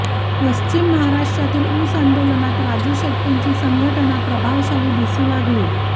पश्चिम महाराष्ट्रातील ऊस आंदोलनात राजू शेट्टींची संघटना प्रभावशाली दिसू लागली